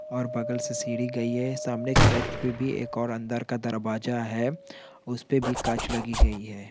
और बगल से सीढ़ी गयी है सामने एक साइड पे भी एक और अंदर का दरवाजा है उस पे भी कांच लगी गयी है।